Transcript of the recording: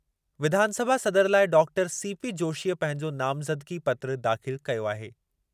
विधानसभा सदर लाइ doctor CP जोशीअ पंहिंजो नामज़दगी पत्रु दाख़िल कयो आहे।